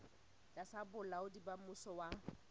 tlasa bolaodi ba mmuso wa